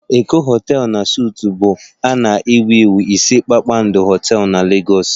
Eko hotel na suites bụ a na-ewu ewu ise kpakpando hotel na Lagos